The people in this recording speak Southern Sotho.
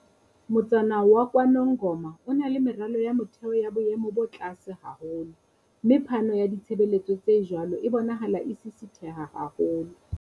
Motsana wa KwaNongoma o na le meralo ya motheo ya boemo bo tlase haholo, mme phano ya ditshebeletso tse jwalo e bonahala e sisitheha haholo.